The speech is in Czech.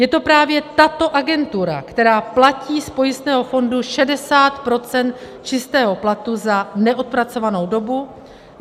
Je to právě tato agentura, která platí z pojistného fondu 60 % čistého platu za neodpracovanou dobu.